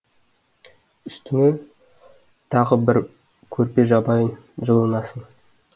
үстіңе тағы бір көрпе жабайын жылынасың